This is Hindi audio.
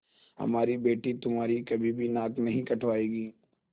हमारी बेटी तुम्हारी कभी भी नाक नहीं कटायेगी